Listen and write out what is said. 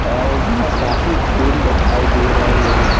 अ इसमें काफी फूल दिखाई दे रहे हैं।